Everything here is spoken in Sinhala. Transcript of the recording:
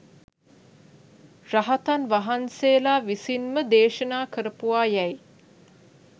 රහතන් වහන්සේලා විසින්ම දේශනා කරපුවා යැයි